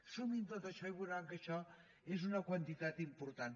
sumin tot això i veuran que això és una quantitat important